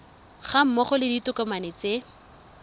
ga mmogo le ditokomane tse